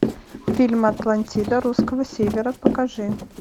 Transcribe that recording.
фильм атлантида русского севера покажи